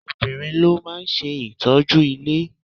Obìnrin ló máa ń ṣe ìtọ́jú ilé.